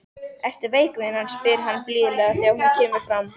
Ertu veik vinan, spyr hann blíðlega þegar hún kemur fram.